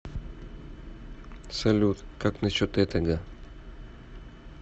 салют как на счет этого